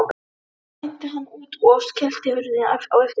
Síðan æddi hann út og skellti hurðinni á eftir sér.